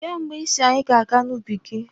Kee mgbe ị sị anyị ga-aga n'ubi gị?